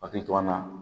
Akili to an na